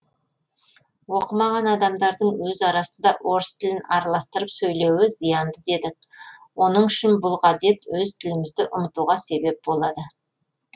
оқымаған адамдардың өз арасында орыс тілін араластырып сөйлеуі зиянды дедік оның үшін бұл ғадет өз тілімізді ұмытуға себеп болады